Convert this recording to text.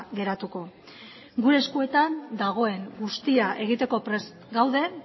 geratuko gure eskuetan dagoen guztia egiteko prest gaude